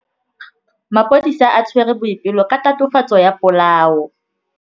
Maphodisa a tshwere Boipelo ka tatofatsô ya polaô.